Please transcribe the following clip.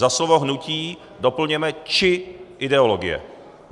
Za slovo "hnutí" doplňujeme "či ideologie".